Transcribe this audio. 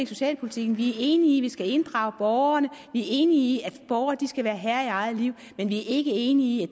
socialpolitikken vi er enige i skal inddrage borgerne vi er enige i at borgere skal være herrer i eget liv men vi er ikke enige i